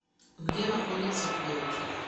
где находится креатив